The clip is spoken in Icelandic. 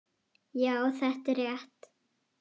Já, þetta er rétt.